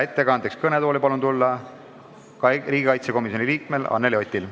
Ettekandeks palun kõnetooli tulla riigikaitsekomisjoni liikmel Anneli Otil!